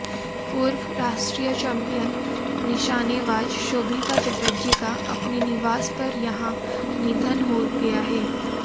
पूर्व राष्ट्रीय चैंपियन निशानेबाज शोभिता चटर्जी का अपने निवास पर यहां निधन हो गया है